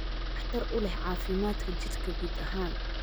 waxtar u leh caafimaadka jidhka guud ahaan.